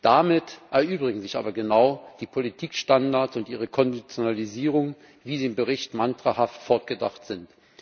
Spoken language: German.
Damit erübrigen sich aber genau die Politikstandards und ihre Konditionalisierung, wie sie im Bericht mantrahaft fortgedacht sind.